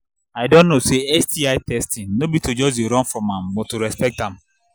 i don know say sti testing no be to just they run from am but to respect am